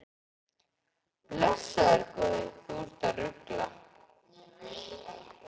Blessaður góði, þú ert að rugla!